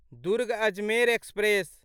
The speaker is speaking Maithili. दुर्ग अजमेर एक्सप्रेस